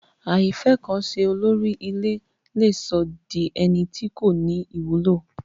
Àìfẹ́kanse olórí ilé le sọ́ di ẹni tí kò ní ìwúlò